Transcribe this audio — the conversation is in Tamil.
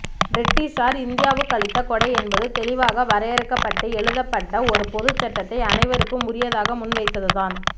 பிரிட்டிஷார் இந்தியாவுக்களித்த கொடை என்பது தெளிவாக வரையறுக்கப்பட்டு எழுதப்பட்ட ஒரு பொதுச்சட்டத்தை அனைவருக்கும் உரியதாக முன்வைத்ததுதான்